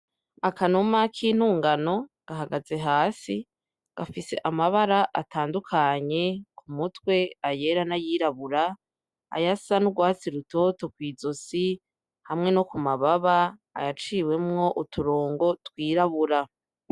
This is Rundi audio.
Akanuma k'intungano gahagaze hasi, gafise amabara atandukanye ku mutwe ayera n'ayirabura, ayasa n'urwatsi rutoto kw'izosi hamwe no ku mababa, ayaciwemwo uturongo twirabura.